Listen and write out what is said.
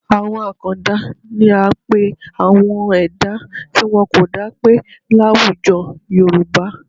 Àwọn àkàndá ni à ń pe àwọn ẹ̀dá tí wọn kò dápé láwùjọ Yorùbá